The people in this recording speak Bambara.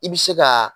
I bɛ se ka